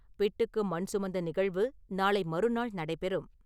பிட்டுக்கு மண் சுமந்த நிகழ்வு நாளை மறுநாள் நடைபெறும்.